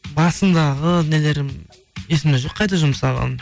басындағы нелерім есімде жоқ қайда жұмсағаным